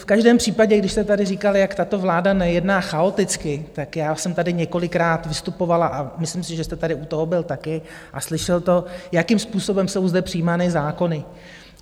V každém případě, když jste tady říkal, jak tato vláda nejedná chaoticky, tak já jsem tady několikrát vystupovala a myslím si, že jste tady u toho byl taky a slyšel to, jakým způsobem jsou zde přijímány zákony.